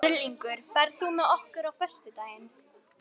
Erlingur, ferð þú með okkur á föstudaginn?